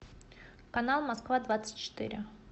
канал москва двадцать четыре